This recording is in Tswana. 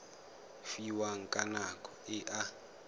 fiwang ka nako e a